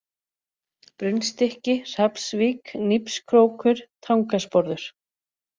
Brunnstykki, Hrafnsvík, Nípskrókur, Tangasporður